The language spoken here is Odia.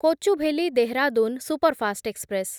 Kochuveli Dehradun superfast express